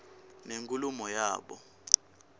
nenkulumo yabo